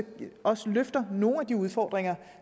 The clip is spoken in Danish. også løfter nogle af de udfordringer